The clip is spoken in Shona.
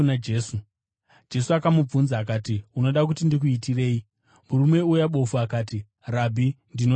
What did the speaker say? Jesu akamubvunza akati, “Unoda kuti ndikuitirei?” Murume uya bofu akati, “Rabhi, ndinoda kuona.”